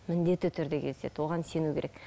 міндетті түрде кездеседі оған сену керек